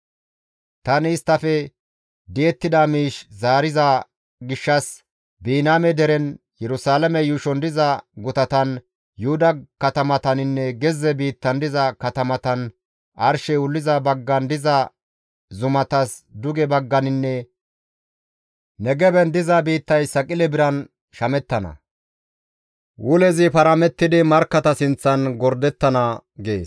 Tani isttafe di7ettida miish zaariza gishshas Biniyaame deren, Yerusalaame yuushon diza gutatan, Yuhuda katamataninne gezze biittan diza katamatan, arshey wulliza baggan diza zumatas duge bagganinne Negeben diza biittay saqile biran shamettana; wulezi paramettidi markkata sinththan gordettana» gees.